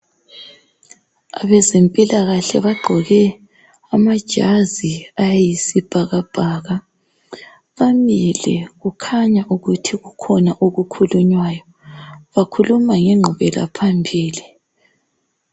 Abezempilakahle bagqoke amajazi ayisibhakabhaka bamile kukhanya ukuthi kukhona okukhulunywayo bakhuluma ngenqubela phambili.